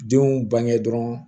Denw bange dɔ